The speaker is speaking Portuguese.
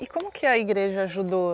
E como que a igreja ajudou?